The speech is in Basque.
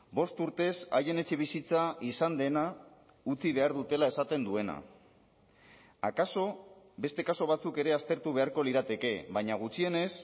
bost urtez haien etxebizitza izan dena utzi behar dutela esaten duena akaso beste kasu batzuk ere aztertu beharko lirateke baina gutxienez